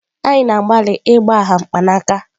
Anyị na-agbalị ịgbagha mkpanaka.